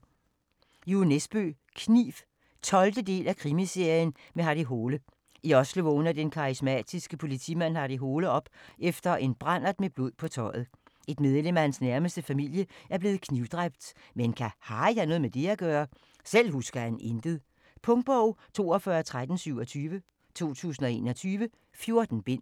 Nesbø, Jo: Kniv 12. del af Krimiserien med Harry Hole. I Oslo vågner den karismatiske politimand Harry Hole op efter en brandert med blod på tøjet. Et medlem af hans nærmeste familie er blevet knivdræbt, men kan Harry have noget med det at gøre? Selv husker han intet. Punktbog 421327 2021. 14 bind.